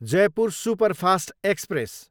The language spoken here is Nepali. Jaipur superfast express